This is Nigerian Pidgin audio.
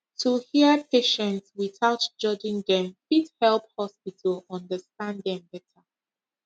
to hear patient without judging dem fit help hospital understand dem better